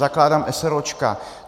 Zakládám eseróčka.